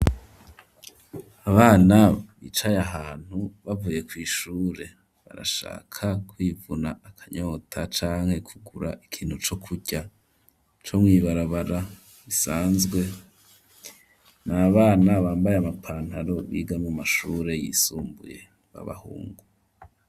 Abana bicaye ahantu bavuye kw'ishure, barashaka kwivuna akanyota canke kugura ikintu co kurya, co mw'ibarabara bisanzwe; n’abana bambaye amapantaro, biga mu mashure yisumbuye b'abahungu.